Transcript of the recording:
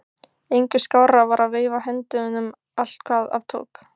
Engu skárra var að veifa höndunum allt hvað af tók.